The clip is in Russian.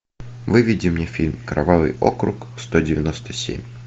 выведи мне фильм кровавый округ сто девяносто семь